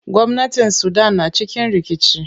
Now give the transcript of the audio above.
Gwamnatin sudan na cikin rikici.